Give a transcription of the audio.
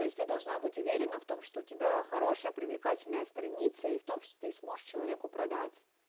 то есть ты должна быть уверена в том что у тебя хорошая привлекательная страница и в том что ты сможешь человеку продать